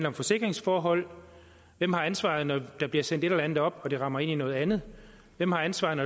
om forsikringsforhold hvem har ansvaret når der bliver sendt et eller andet op og det rammer ind i noget andet hvem har ansvaret når